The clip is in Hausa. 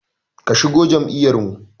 Ki shigo jam'iyar mu!